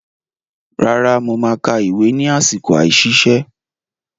Rárá, mo máa ka ìwé ni àsìkò àìsiṣẹ́.